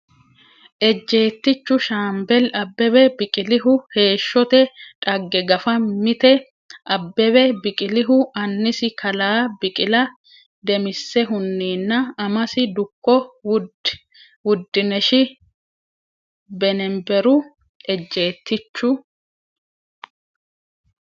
Ejjeettichu Shaambeli Abbebe Biqilihu heeshshote dhagge Gafa Mite Abbebe Biqilihu annisi kalaa Biqila Damissehunninna amasi dukko Wud- dinesh Beneberu Ejjeettichu.